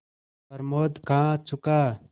प्रमोद खा चुका